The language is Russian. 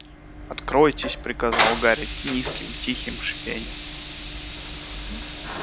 откройтесь приказал гарри низким тихим шипением